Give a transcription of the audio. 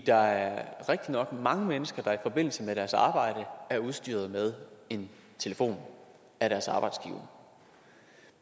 der er rigtigt nok mange mennesker der i forbindelse med deres arbejde er udstyret med en telefon af deres arbejdsgiver